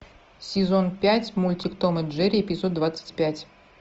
сезон пять мультик том и джерри эпизод двадцать пять